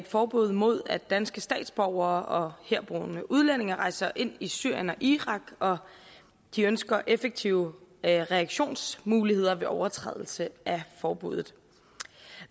forbud mod at danske statsborgere og herboende udlændinge rejser ind i syrien og irak og de ønsker effektive reaktionsmuligheder ved overtrædelse af forbuddet